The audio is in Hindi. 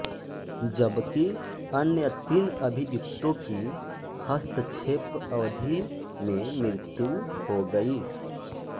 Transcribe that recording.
जबकि अन्य तीन अभियुक्तों की हस्तक्षेप अवधि में मृत्यु हो गई